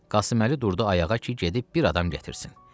Qasım Əli durdu ayağa ki, gedib bir adam gətirsin.